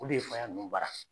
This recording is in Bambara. O de ye faya ninnu baara.